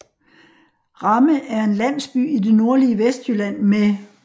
Ramme er en landsby i det nordlige Vestjylland med